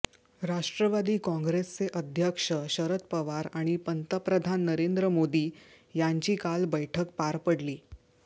राष्ट्रवादी काँग्रेसचे अध्यक्ष शरद पवार आणि पंतप्रधान नरेंद्र मोदी यांची काल बैठक पार पडली